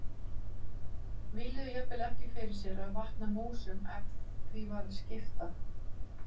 Víluðu jafnvel ekki fyrir sér að vatna músum ef því var að skipta.